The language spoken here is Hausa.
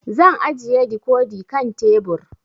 Zan ajiye dikodi kan tebur